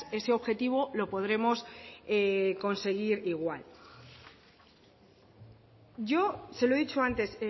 ese objetivo lo podremos conseguir igual yo se lo he dicho antes